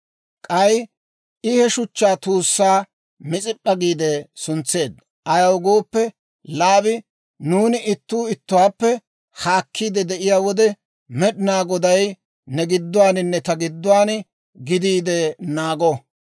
K'ay I he shuchchaa tuussaa Mis'ip'p'a giide suntseedda; ayaw gooppe, Laabi, «Nuuni ittuu ittuwaappe haakkiide de'iyaa wode, Med'inaa Goday ne gidduwaaninne ta gidduwaan gidiide naago.